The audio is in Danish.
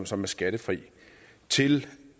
som er skattefri til